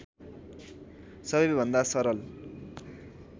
सबैभन्दा सरल